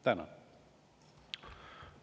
Tänan!